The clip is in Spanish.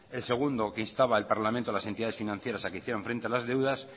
el segundo que instaba el parlamento a las entidades financieras a que hicieran frente a las deudas